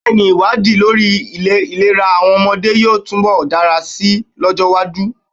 Bẹ́ẹ̀ ni, ìwádìí lórí ìlera àwọn ọmọdé yóò túnbọ̀ dára si lọ́jọ́-iwájú.